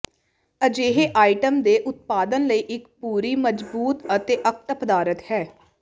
ਅਜਿਹੇ ਆਈਟਮ ਦੇ ਉਤਪਾਦਨ ਲਈ ਇੱਕ ਪੂਰਿ ਮਜ਼ਬੂਤ ਅਤੇ ਅਕਟ ਪਦਾਰਥ ਹੈ